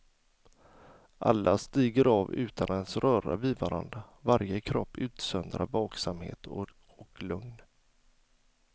Alla stiger av utan att ens röra vid varandra, varje kropp utsöndrar vaksamhet och lugn.